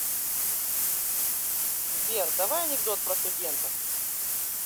сбер давай анекдот про студентов